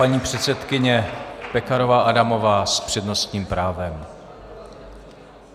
Paní předsedkyně Pekarová Adamová s přednostním právem.